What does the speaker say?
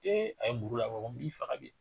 a ye muru labɔ wa n b'i faga bi.